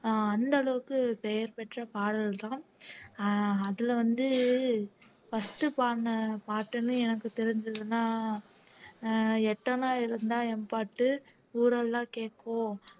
அஹ் அந்த அளவுக்கு பெயர் பெற்ற பாடல்தான் அஹ் அதுல வந்து first பாடுன பாட்டுன்னு எனக்கு தெரிஞ்சதுன்னா அஹ் எட்டணா இருந்தா என் பாட்டு ஊரெல்லாம் கேக்கும்